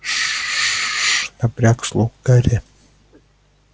ш напряг слух гарри